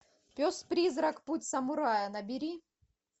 пес призрак путь самурая набери